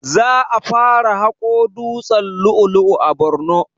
Za a fara haƙo dutsen lu'u lu'u a borno